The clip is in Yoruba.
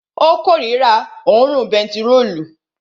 Ó korira òórùn bentiróòlù